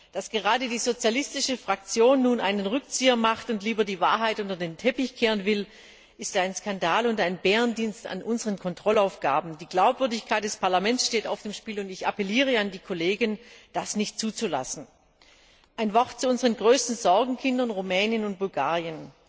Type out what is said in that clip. Dass gerade die sozialistische Fraktion nun einen Rückzieher macht und lieber die Wahrheit unter den Teppich kehren will, ist ein Skandal und ein Bärendienst an unseren Kontrollaufgaben. Die Glaubwürdigkeit des Parlaments steht auf dem Spiel, und ich appelliere an die Kollegen, das nicht zuzulassen. Ein Wort zu unseren größten Sorgenkindern Rumänien und Bulgarien.